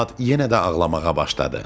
Polad yenə də ağlamağa başladı.